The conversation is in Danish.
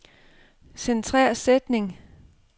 Centrer sætning.